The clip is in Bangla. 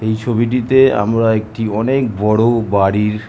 এই ছবিটিতে আমরা একটি অনেক বড়ো-ও বাড়ির --